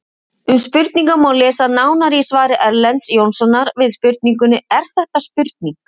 Um spurningar má lesa nánar í svari Erlends Jónssonar við spurningunni Er þetta spurning?